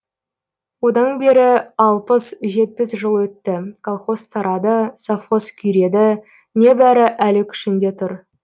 одан бері алпыс жетпіс жыл өтті колхоз тарады совхоз күйреді небәрі әлі күшінде тұр